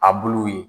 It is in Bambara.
A buluw ye